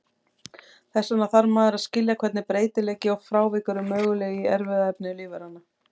Þess vegna þarf maður að skilja hvernig breytileiki og frávik eru möguleg í erfðaefni lífveranna.